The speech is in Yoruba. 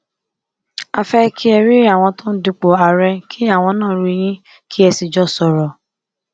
a fẹ kẹ ẹ rí àwọn tó ń dupò àárẹ kí àwọn náà rí yín kẹ ẹ sì jọ sọrọ